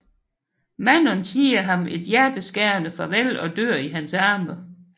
Manon siger ham et hjerteskærende farvel og dør i hans arme